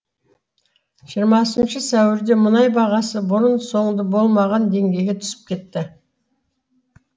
жиырмасыншы сәуірде мұнай бағасы бұрын соңды болмаған деңгейге түсіп кетті